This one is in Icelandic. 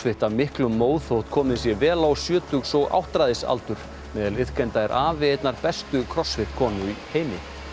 af miklum móð þótt komið sé vel á sjötugs og áttræðisaldur meðal iðkenda er afi einnar bestu konu heims